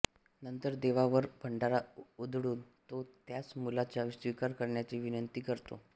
नंतर देवावर भंडारा उधळून तो त्यास मुलाचा स्वीकार करण्याची विनंती करतो